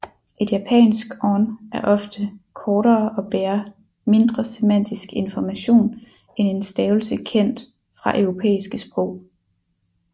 Et japansk on er ofte kortere og bærer mindre semantisk information end en stavelse kendt fra europæiske sprog